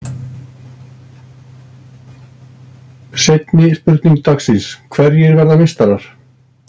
Seinni spurning dagsins: Hverjir verða meistarar?